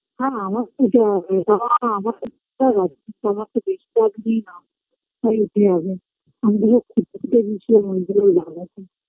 হ্যাঁ আমার তো যাওয়া হবে তাও আমারটা তো আমার তো বেশি চাপ দিই না তাই উঠে যাবে লাভ আছে